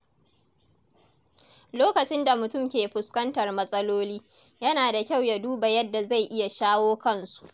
Lokacin da mutum ke fuskantar matsaloli, yana da kyau ya duba yadda zai iya shawo kansu.